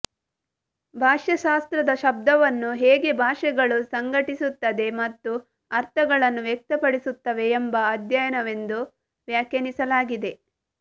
ಭಾಷಾಶಾಸ್ತ್ರದ ಶಬ್ದಾರ್ಥವನ್ನು ಹೇಗೆ ಭಾಷೆಗಳು ಸಂಘಟಿಸುತ್ತದೆ ಮತ್ತು ಅರ್ಥಗಳನ್ನು ವ್ಯಕ್ತಪಡಿಸುತ್ತವೆ ಎಂಬ ಅಧ್ಯಯನವೆಂದು ವ್ಯಾಖ್ಯಾನಿಸಲಾಗಿದೆ